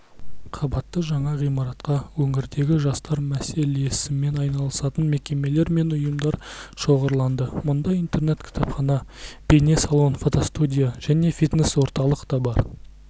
қабатты жаңа ғимаратқа өңірдегі жастар мәселесімен айналысатын мекемелер мен ұйымдар шоғырланды мұнда интернет-кітапхана бейне-салон фотостудия және фитнес-орталық та бар